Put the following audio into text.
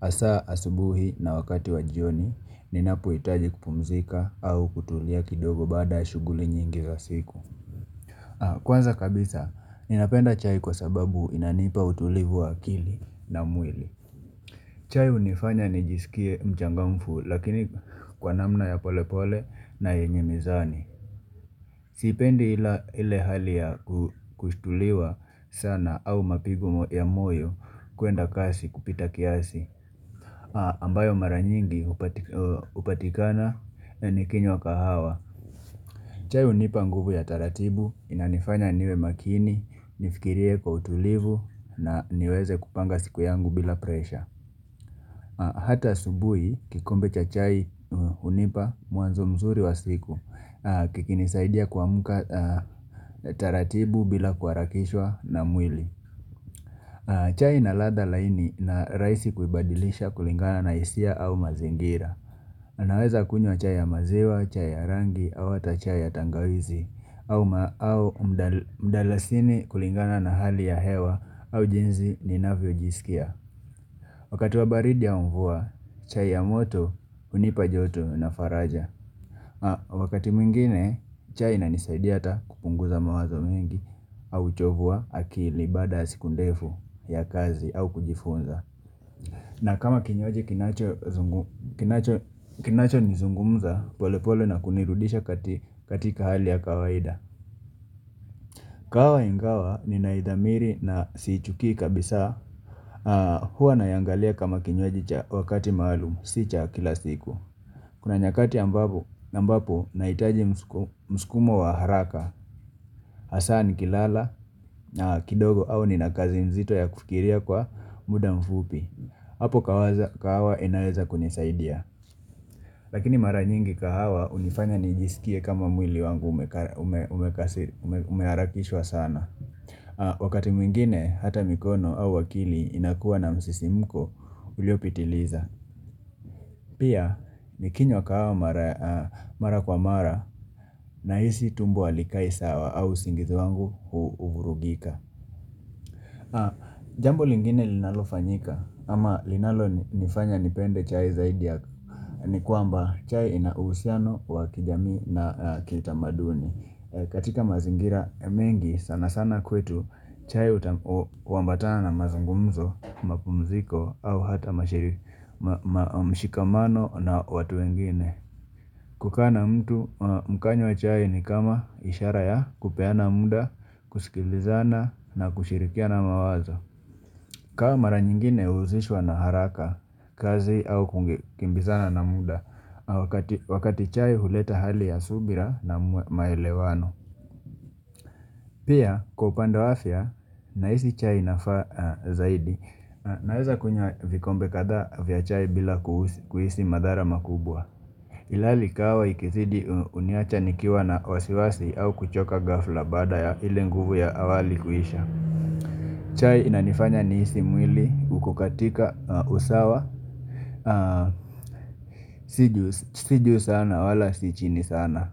Hasa asubuhi na wakati wa jioni ninapohitaji kupumzika au kutulia kidogo baada shughuli nyingi za siku. Kwanza kabisa, ninapenda chai kwa sababu inanipa utulivu wa akili na mwili. Chai hunifanya nijisikie mchangamfu Lakini kwa namna ya pole pole na yenye mizani Sipendi ile hali ya kusthuliwa sana au mapigo ya moyo kuenda kasi kupita kiasi ambayo mara nyingi hupatikana ikinywa kahawa. Chai hunipa nguvu ya taratibu, Inanifanya niwe makini, nifikirie kwa utulivu na niweze kupanga siku yangu bila presha Hata asubuhi, kikombe cha chai hunipa mwanzo mzuri wa siku kikinisaidia kuamuka taratibu bila kuharakishwa na mwili chai ina ladha laini na rahisi kuibadilisha kulingana na hisia au mazingira Naweza kunywa chai ya maziwa, chai ya rangi au hata chai ya tangawizi au mdalasini kulingana na hali ya hewa au jinsi ninavyojisikia Wakati wa baridi au mvua, chai ya moto hunipa joto na faraja. Wakati mwngine, chai inanisaidia hata kupunguza mawazo mengi au uchovu wa akili baada ys siku ndefu ya kazi au kujifunza. Na kama kinywaji kinacho kinacho kinachonizungumza, pole pole na kunirudisha katika hali ya kawaida. Kahawa ingawa ninaidhamiri na siichukii kabisa, hua naiangalia kama kinywaji cha wakati maalum, si cha kila siku. Kuna nyakati ambapo ambapo nahitaji mskumo wa haraka, hasa nikilala na kidogo au nina kazi nzito ya kufikiria kwa muda mfupi. Hapo kahawa inaweza kunisaidia. Lakini mara nyingi kahawa hunifanya nijisikie kama mwili wangu umeharakishwa sana. Wakati mwingine hata mikono au akili inakuwa na msisimuko uliopitiliza. Pia, nikinywa kahawa mara kwa mara nahisi tumbo halikai sawa au usingizi wangu huvurugika Jambo lingine linalo fanyika ama linalo nifanya nipende chai zaidi ya ni kwamba chai ina uhusiano wa kijamii na kitamaduni. Katika mazingira mengi sana sana kwetu chai huambatana na mazungumzo, mapumziko au hata mshikamano na watu wengine. Kukaa na mtu mkanywa chai ni kama ishara ya kupeana muda, kusikilizana na kushirikiana mawazo. Kahawa mara nyingine huhusishwa na haraka, kazi au kukimbizana na muda, wakati chai huleta hali ya subira na maelewano. Pia, kwa upanda wa afya nahisi chai inafaa zaidi. Naweza kunywa vikombe kadhaa vya chai bila kuhisi madhara makubwa Ilhali kahawa ikizidi huniacha nikiwa na wasiwasi au kuchoka ghafla baada ya ile nguvu ya awali kuisha chai inanifanya nihisi mwili uko katika usawa Si juu sana wala si chini sana.